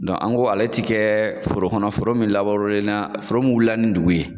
Dɔn an ko ale ti kɛ forokɔnɔ foro min laburenera foro min wuli la ni ndugu ye